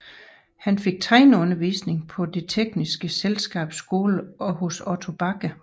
Han fik tegneundervisning på Det tekniske Selskabs Skole og hos Otto Bache